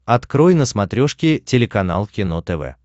открой на смотрешке телеканал кино тв